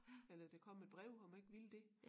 Eller der kom et brev om jeg ikke ville det